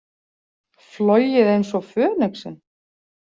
Flogið eins og fönixinn?